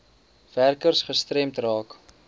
werkers gestremd raak